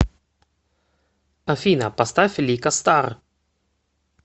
афина поставь лика стар